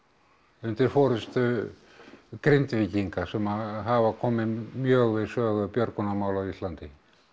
undir forystu Grindvíkinga sem hafa komið mjög við sögu björgunarmála á Íslandi